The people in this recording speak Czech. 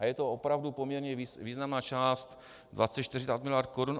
A je to opravdu poměrně významná část: 24 miliard korun.